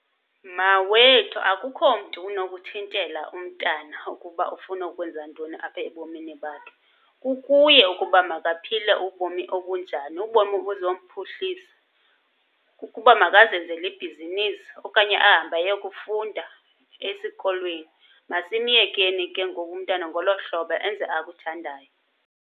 Mawethu, akukho mntu unokuthintela umntana ukuba ufuna ukwenza ntoni apha ebomini bakhe. Kukuye ukuba makaphile ubomi obunjani, ubomi obuzomphuhlisa. Ukuba makazenzele ibhizinisi okanye ahambe ayokufunda esikolweni. Masimyekeni ke ngoku umntana ngolo hlobo enze akuthandayo.